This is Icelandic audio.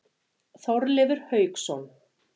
Þorleifur Hauksson.